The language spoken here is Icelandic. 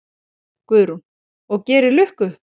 Guðrún: Og gerir lukku?